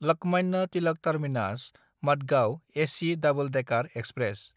Lokmanya Tilak टार्मिनास–मादगांव AC double decker express